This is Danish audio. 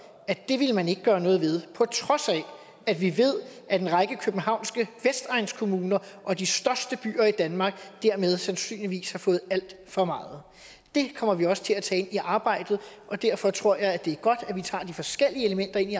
at det ville man ikke gøre noget ved på trods af at vi ved at en række københavnske vestegnskommuner og de største byer i danmark dermed sandsynligvis har fået alt for meget det kommer vi også til at tage ind i arbejdet og derfor tror jeg det er godt at vi tager de forskellige elementer ind i